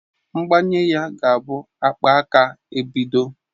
Mgbanye ga-abụ akpaaka ebido.